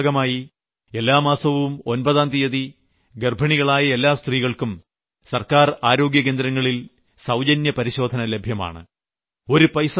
ഈ യജ്ഞത്തിന്റെ ഭാഗമായി എല്ലാ മാസവും ഒമ്പതാം തീയതി ഗർഭിണികളായ എല്ലാ സ്ത്രീകൾക്കും സർക്കാർ ആരോഗ്യകേന്ദ്രങ്ങളിൽ സൌജന്യപരിശോധന ലഭ്യമാണ്